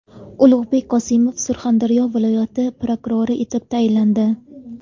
Ulug‘bek Qosimov Surxondaryo viloyati prokurori etib tayinlandi.